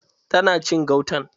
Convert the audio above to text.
Ta na cin gautan?